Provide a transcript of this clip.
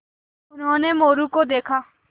उन्होंने मोरू को देखा